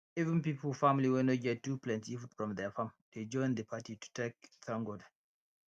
even pipo family wey no too get plenty food from their farm dey join the party to take thank god